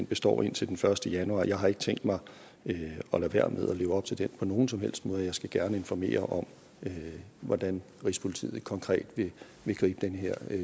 består indtil den første januar jeg har ikke tænkt mig at lade være med at leve op til den på nogen som helst måde og jeg skal gerne informere om hvordan rigspolitiet konkret vil gribe den her